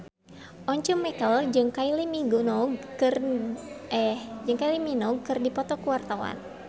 Once Mekel jeung Kylie Minogue keur dipoto ku wartawan